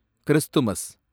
Christmas